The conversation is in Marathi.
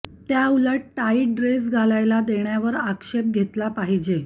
त्याउलट टाइट ड्रेस घालायला देण्यावर आक्षेप घेतला पाहिजे